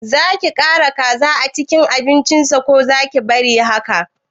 Zaki ƙara kaza a cikin abincin sa ko zaki bari haka